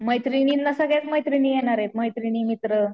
मैत्रिणींना सगळ्याच मैत्रिणी येणारे, मैत्रिणी मित्र.